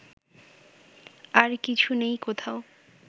আর কিছু নেই কোথাও